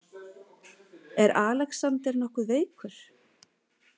Er Alexander nokkuð veikur?